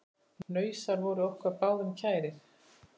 Hnausar voru okkur báðum kærir.